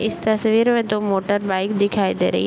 इस तस्वीर में दो मोटर बाइक दिखाई दे रही हैं।